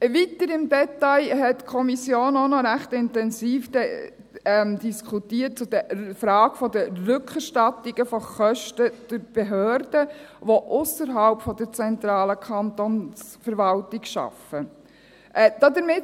Weiter hat die Kommission auch noch die Frage der Rückerstattungen der Kosten durch die Behörden, die ausserhalb der zentralen Kantonsverwaltung arbeiten, ziemlich intensiv diskutiert.